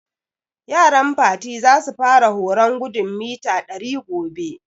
Yaran Fati za su fara horon gudun mita ɗari gobe